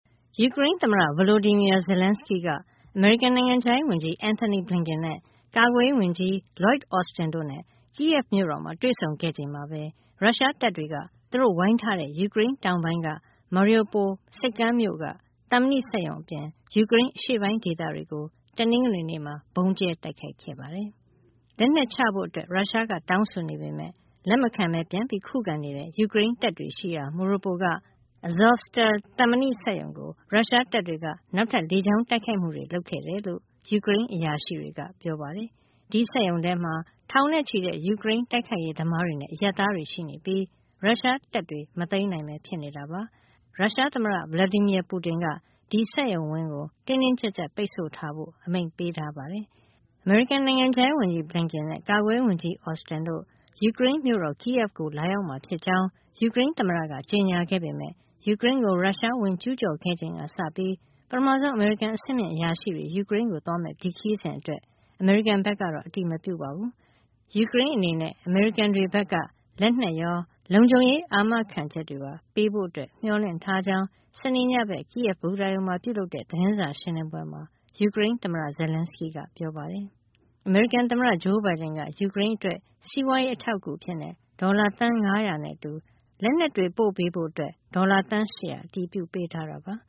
ယူကရိန်းသမ္မတ Volodymyr Zelenskyy က အမေရိကန် နိုင်ငံခြားရေးဝန်ကြီး Antony Blinken၊ ကာကွယ်ရေးဝန်ကြီး Lloyd Austin တို့နဲ့ kyiv မြို့တော်မှာ တွေ့ဆုံခဲ့ချိန်မှာပဲ ရုရှားတပ်တွေက သူတို့ဝိုင်းထားတဲ့ ယူကရိန်းတောင်ပိုင်းက Mariupol ဆိပ်ကမ်းမြို့က သံမဏိစက်ရုံအပြင် ယူကရိန်းအရှေ့ပိုင်း ဒေသတွေကို တနင်္ဂနွေနေ့မှာ ဗုံးကြဲတိုက်ခိုက်ခဲ့ပါတယ်။ လက်နက်ချဖို့ ရုရှားက တောင်းဆိုနေပေမဲ့ လက်မခံဘဲ ပြန်လည်ခုခံနေတဲ့ ယူကရိန်းတပ်တွေရှိရာ Mariupol က Azovstal သံမဏိစက်ရုံကို ရုရှားတပ်တွေက နောက်ထပ် လေကြောင်းတိုက်ခိုက်မှုတွေ လုပ်ခဲ့တယ်လို့ ယူကရိန်းအရာရှိတွေက ပြောပါတယ်။ ဒီစက်ရုံထဲမှာ ထောင်နဲ့ချီတဲ့ ယူကရိန်း တိုက်ခိုက်ရေးသမားတွေနဲ့ အရပ်သားတွေ ရှိနေပြီး ရုရှားတပ်တွေ မသိမ်းနိုင်ဘဲ ဖြစ်နေတာပါ။ ရုရှားသမ္မတ Vladimir Putin က ဒီစက်ရုံဝင်းကို တင်းတင်းကျပ်ကျပ် ပိတ်ဆို့ထားဖို့ အမိန့်ပေးထားပါတယ်။ အမေရိကန် နိုင်ငံခြားရေးဝန်ကြီး Blinken နဲ့ ကာကွယ်ရေးဝန်ကြီး Austin တို့ ယူကရိန်းမြို့တော် Kyiv ကို လာရောက်မှာဖြစ်ကြောင်း ယူကရိန်းသမ္မတက ကြေညာခဲ့ပေမဲ့ ယူကရိန်းကို ရုရှား ဝင်ကျူးကျော်ခဲ့ချိန်ကစပြီး ပထမဆုံး အမေရိကန် အဆင့်မြင့်အရာရှိတွေ ယူကရိန်းကိုသွားမယ့် ဒီခရီးစဉ်အတွက် အမေရိကန်ဘက်ကတော့ အတည်မပြုပါဘူး။ ယူကရိန်းအနေနဲ့ အမေရိကန်တွေဘက်က လက်နက်ရော၊ လုံခြုံရေး အာမခံချက်တွေပါ ပေးဖို့ မျှော်လင့်ထားကြောင်း စနေနေ့ညဘက် Kyiv ဘူတာရုံမှာ ပြုလုပ်တဲ့ သတင်းစာရှင်းလင်းပွဲမှာ ယူကရိန်းသမ္မတ Zelenskyy က ပြောပါတယ်။ အမေရိကန်သမ္မတ Joe Biden က ယူကရိန်းအတွက် စီးပွားရေး အထောက်အကူအဖြစ် ဒေါ်လာ သန်း ၅၀၀ နဲ့အတူ လက်နက်တွေ ပို့ပေးဖို့အတွက် ဒေါ်လာ သန်း ၈၀၀ အတည်ပြုပေးထားတာပါ။